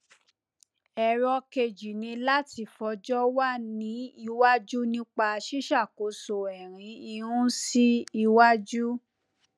ẹrọ kejì ni láti fọjọ wa ní iwájú nípa ṣíṣàkóso ẹrin irun sí iwájú